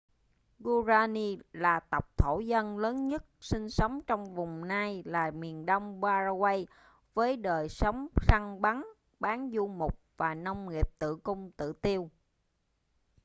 guaraní là tộc thổ dân lớn nhất sinh sống trong vùng nay là miền đông paraguay với đời sống săn bắn bán du mục và nông nghiệp tự cung tự tiêu